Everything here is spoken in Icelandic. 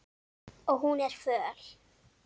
Og hún er föl.